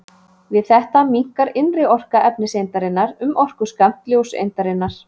Við þetta minnkar innri orka efniseindarinnar um orkuskammt ljóseindarinnar.